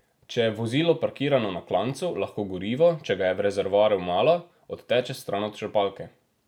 Če je vozilo parkirano na klancu, lahko gorivo, če ga je v rezervoarju malo, odteče stran od črpalke.